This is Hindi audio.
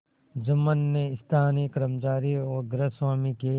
जुम्मन ने स्थानीय कर्मचारीगृहस्वामीके